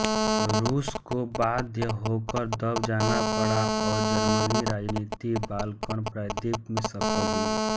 रूस को बाध्य होकर दब जाना पड़ा और जर्मन राजनीति बालकन प्रायद्वीप में सफल हुई